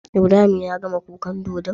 Ibrahim yagama kukan dodon?